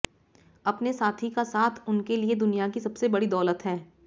अपने साथी का साथ उनके लिए दुनिया की सबसे बड़ी दौलत हैं